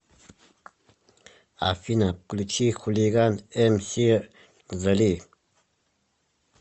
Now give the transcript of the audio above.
афина включи хулиган эмси зали